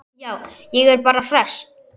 Já, ég er bara hress.